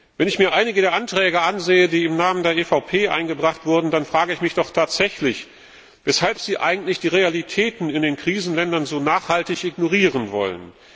Wenn ich mir einige der Anträge ansehe, die im Namen der EVP Fraktion eingebracht wurden, dann frage ich mich doch tatsächlich, weshalb sie eigentlich die Realitäten in den Krisenländern so nachhaltig ignorieren wollen.